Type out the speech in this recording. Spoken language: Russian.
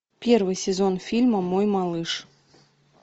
первый сезон фильма мой малыш